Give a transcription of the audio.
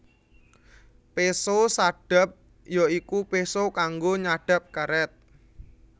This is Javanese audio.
Péso sadap ya iku péso kanggo nyadhap karét